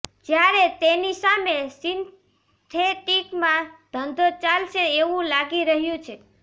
જ્યારે તેની સામે સિન્થેટિકમાં ધંધો ચાલશે એવું લાગી રહ્યું છે